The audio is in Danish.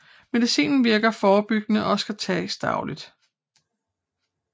Medicinen virker forebyggende og skal tages dagligt